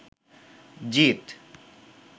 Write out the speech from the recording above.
জিত